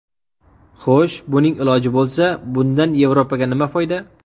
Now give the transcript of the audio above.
Xo‘sh, buning iloji bo‘lsa, bundan Yevropaga nima foyda?